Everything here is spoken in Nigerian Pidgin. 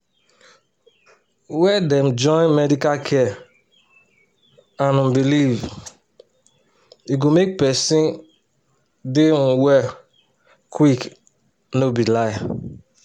where dem join medical care and um belief e go make sick person dey um well quick um no be lie.